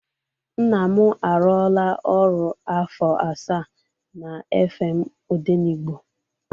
Nna m arụọla ọrụ afọ asaa na FM Odenigbo.